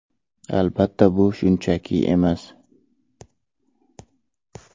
Albatta, bu shunchaki emas.